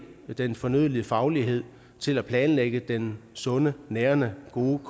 den fornødne faglighed til at planlægge den sunde nærende gode